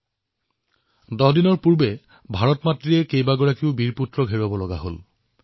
১০ দিন পূৰ্বে ভাৰত মাতাই নিজৰ বীৰ সুপুত্ৰক হেৰুৱাবলগীয়া হল